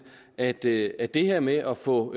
at det at det her med at få